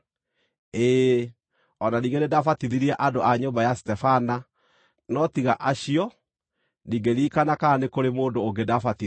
Ĩĩ, o na ningĩ nĩndabatithirie andũ a nyũmba ya Stefana; no tiga acio, ndingĩririkana kana nĩ kũrĩ mũndũ ũngĩ ndaabatithirie.